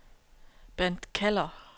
Bent Keller